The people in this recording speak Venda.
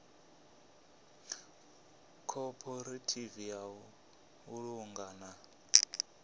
khophorethivi ya u vhulunga na